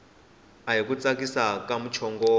ahi ku tsakisa ka muchongolo